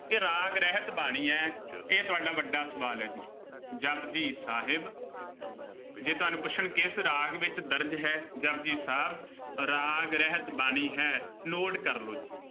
ਇਹ ਰਾਗ ਰਹਿਤ ਬਾਣੀ ਹੈ। ਇਹ ਤੁਹਾਡਾ ਵੱਡਾ ਸਵਾਲ ਹੈ ਜੀ, ਜਪੁਜੀ ਸਾਹਿਬ, ਜੇ ਤੁਹਾਨੂੰ ਪੁੱਛਣ ਕਿਸ ਰਾਗ ਵਿੱਚ ਦਰਜ ਹੈ, ਜਪੁਜੀ ਸਾਹਿਬ, ਰਾਗ ਰਹਿਤ ਬਾਣੀ ਹੈ, note ਕਰ ਲਉੇ ਜੀ।